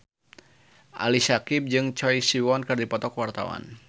Ali Syakieb jeung Choi Siwon keur dipoto ku wartawan